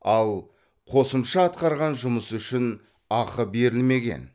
ал қосымша атқарған жұмысы үшін ақы берілмеген